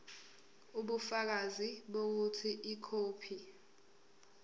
ubufakazi bokuthi ikhophi